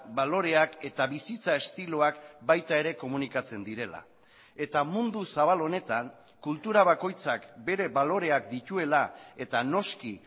baloreak eta bizitza estiloak baita ere komunikatzen direla eta mundu zabal honetan kultura bakoitzak bere baloreak dituela eta noski